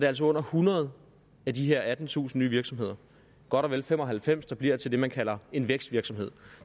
altså under hundrede af de her attentusind nye virksomheder godt og vel fem og halvfems der bliver til det man kalder en vækstvirksomhed